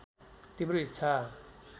तिम्रो इच्छा